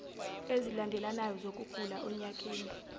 ezilandelanayo zokugula onyakeni